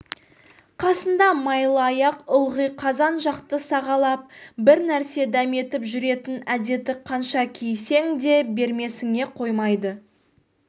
қасында майлыаяқ ылғи қазан жақты сағалап бір нәрсе дәметіп жүретін әдеті қанша кейісең де бермесіңе қоймайды